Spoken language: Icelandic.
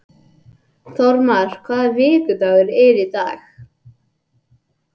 Þórmar, hvaða vikudagur er í dag?